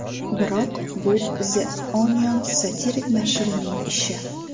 Biroq bu The Onion satirik nashrining ishi.